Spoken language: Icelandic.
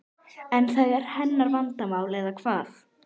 En það er hennar vandamál eða hvað?